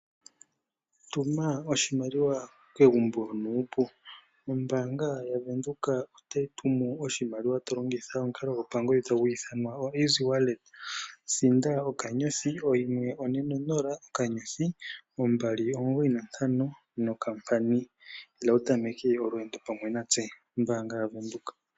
Tuma oshimaliwa kegumbo nuu. Ombaanga yaVenduka ohayi tumu oshimaliwa to longitha omukalo gopangodhi. Thinda okanyothi oyimwe one nonola okanyothi ombali omugoyi nontano nokampani. Ila wu tameke olwendo pamwe natse ombaanga yaVenduka.